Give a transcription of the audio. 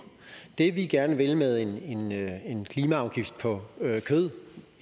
det som vi gerne vil med en klimaafgift på kød